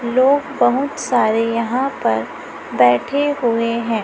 लोग बहुत सारे यहां पर बैठे हुए हैं।